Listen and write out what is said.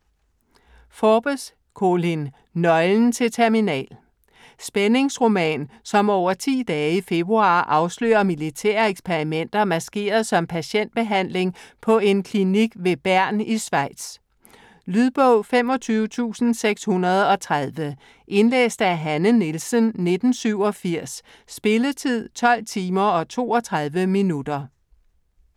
Forbes, Colin: Nøglen til Terminal Spændingsroman som over 10 dage i februar afslører militære eksperimenter, maskeret som patientbehandling på en klinik ved Bern i Schweiz. Lydbog 25630 Indlæst af Hanne Nielsen, 1987. Spilletid: 12 timer, 32 minutter.